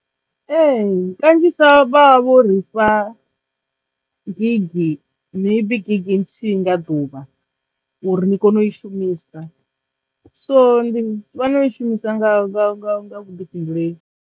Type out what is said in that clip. Ehe! kanzhisa vha vho ri fha gig maybe gig nthihi nga ḓuvha uri ni kono u i shumisa so ndi fanela u i shumisa nga nga nga vhuḓifhinduleli.